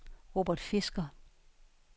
Robert Fisker